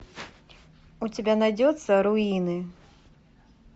у тебя найдется руины